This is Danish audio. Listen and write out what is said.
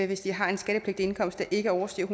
hvis de har en skattepligtig indkomst der ikke overstiger